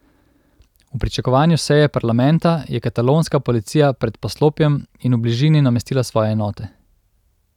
V pričakovanju seje parlamenta je katalonska policija pred poslopjem in v bližini namestila svoje enote.